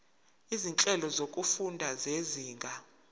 izinhlelo zokufunda zezinga